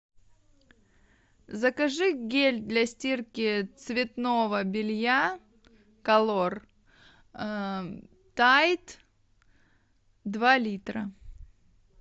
закажи гель для стирки цветного белья колор тайд два литра